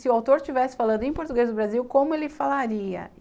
Se o autor estivesse falando em português do Brasil, como ele falaria?